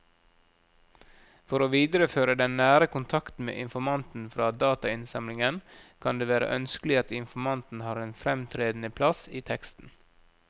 For å videreføre den nære kontakten med informanten fra datainnsamlingen kan det være ønskelig at informanten har en fremtredende plass i teksten.